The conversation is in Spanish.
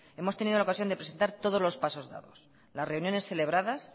hemos tenido la ocasión de presentar todos los pasos dados las reuniones celebradas